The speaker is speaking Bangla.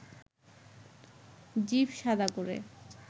জিভ শাদা করে